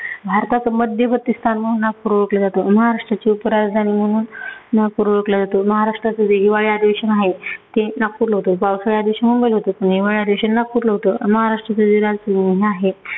भारताचं मध्यवर्ती स्थान म्हणून नागपूर ओळखलं जातं. महाराष्ट्राची उपराजधानी म्हणून नागपूर ओळखलं जातं. महाराष्ट्राचं जे हिवाळी अधिवेशन आहे ते नागपूरला होतं. पावसाळ्याच्या दिवशी मुंबईला होतं आणि हिवाळ्याच्या दिवशी नागपूरला होतं. महाराष्ट्राचं जे राज्य आहे